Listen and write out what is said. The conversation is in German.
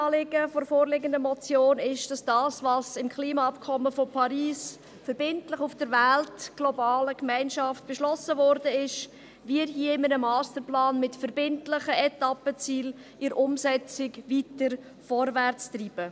Das Kernanliegen der vorliegenden Motion ist es, das, was im Klimaabkommen von Paris verbindlich auf der Welt, in der globalen Gemeinschaft beschlossen worden ist, hier in einem Masterplan mit verbindlichen Etappenzielen in der Umsetzung weiter vorwärtszutreiben.